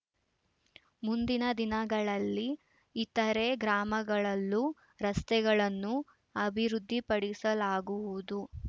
ಮುಂದಿನ ದಿನಗಳಲ್ಲಿ ಇತರೆ ಗ್ರಾಮಗಳಲ್ಲೂ ರಸ್ತೆಗಳನ್ನು ಅಭಿವೃದ್ಧಿಪಡಿಸಲಾಗುವುದು